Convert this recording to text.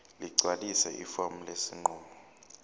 ligcwalise ifomu lesinqumo